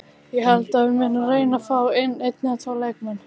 Ég held að við munum reyna fá inn einn eða tvo leikmenn.